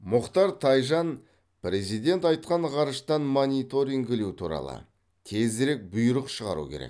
мұхтар тайжан президент айтқан ғарыштан мониторингілеу туралы тезірек бұйрық шығару керек